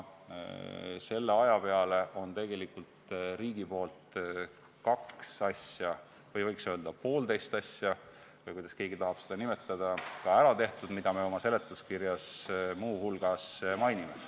Selle aja jooksul on tegelikult riigil kaks asja, võiks öelda ka, et poolteist asja ära tehtud, nendest, mida me oma seletuskirjas muu hulgas mainime.